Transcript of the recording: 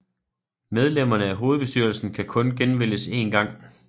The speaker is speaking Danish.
Medlemmerne af hovedbestyrelsen kan kun genvælges én gang